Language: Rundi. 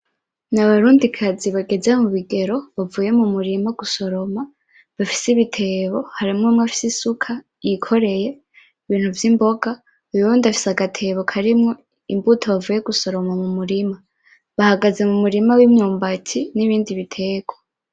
Abarundi kazi bageze mu bigero bavuye mu murima gusoroma bafise ibitebo, hari umwe afise isuka yikoreye ibintu vy'imboga uwundi afise agatebo karimwo imbuto bavuye gusoroma mu murima. Bahagaze mu murima w'imyumbati nibindi b'iterwa.